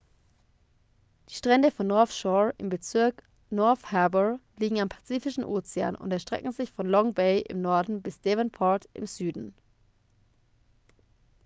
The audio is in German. die strände von north shore im bezirk north harbour liegen am pazifischen ozean und erstrecken sich von long bay im norden bis devonport im süden